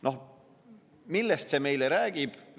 Noh, millest see meile räägib?